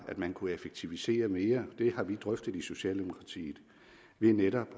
man kunne effektivisere mere det har vi drøftet i socialdemokratiet ved netop